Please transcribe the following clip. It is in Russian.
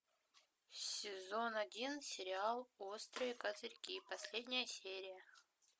сезон один сериал острые козырьки последняя серия